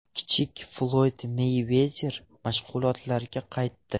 Kichik Floyd Meyvezer mashg‘ulotlarga qaytdi.